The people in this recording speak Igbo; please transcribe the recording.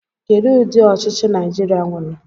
Kedụ ụdị ọchịchị Naịjirịa nwere?